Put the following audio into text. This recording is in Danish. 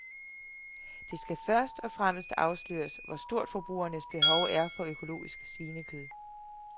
Det skal først og fremmest afsløres, hvor stort forbrugernes behov er for økologisk svinekød.